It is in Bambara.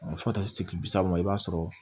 Fo ka taa se kile bi saba ma i b'a sɔrɔ